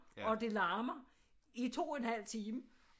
Og det larmer i 2 1/2 time